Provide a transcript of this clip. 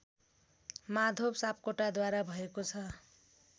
माधव सापकोटाद्वारा भएको छ